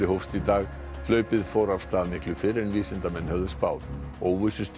hófst í dag hlaupið fór af stað miklu fyrr en vísindamenn höfðu spáð